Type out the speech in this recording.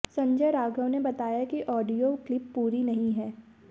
संजय राघव ने बताया कि ऑडियो क्लिप पूरी नहीं है